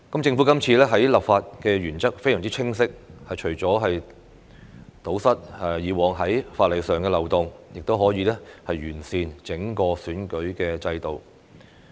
政府這次的立法原則非常清晰，除堵塞以往在法例上的漏洞外，亦可完善整個選舉制度。